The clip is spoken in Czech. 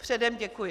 Předem děkuji.